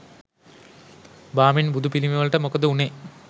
බාමින් බුදු පිළිමවලට මොකද උනේ